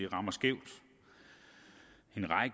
rammer skævt